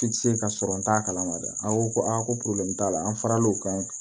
I tɛ se ka sɔrɔ n t'a kalama dɛ an ko ko aa ko t'a la an faral'o kan